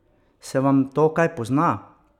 Se vam to kaj pozna?